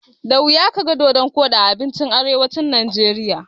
Da wuya kaga dodon koɗi a abincin arewacin Najeriya.